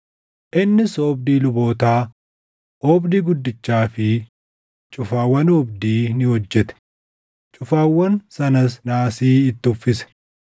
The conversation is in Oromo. Innis oobdii lubootaa, oobdii guddichaa fi cufaawwan oobdii ni hojjete; cufaawwan sanas naasii itti uffise.